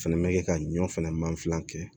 Fɛnɛ bɛ kɛ ka ɲɔ fɛnɛ mansinlan kɛ